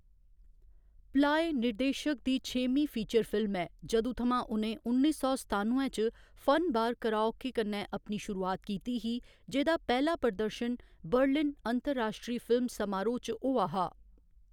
Ply निर्देशक दी छेमीं फीचर फिल्म ऐ जदूं थमां उ'नें उन्नी सौ सतानुए च फन बार कराओके कन्नै अपनी शुरूआत कीती ही, जेह्‌दा पैह्‌‌ला प्रदर्शन बर्लिन अंतर्राश्ट्री फिल्म समारोह्‌‌ च होआ हा।